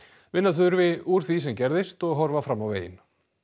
vinna þurfi úr því sem gerðist og horfa fram á veginn